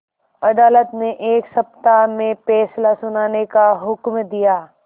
अदालत ने एक सप्ताह में फैसला सुनाने का हुक्म दिया